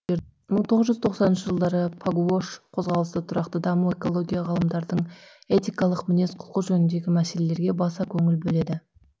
мың тоғыз жүз тоқсаныншы жылдары пагуош қозғалысы тұрақты даму экология ғалымдардың этикалық мінез құлқы жөніндегі мәселелерге баса көңіл бөледі